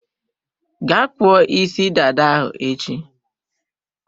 Gaa kpụọ isi dada ahụ echi!